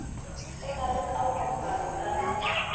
go na le kaonafalo ka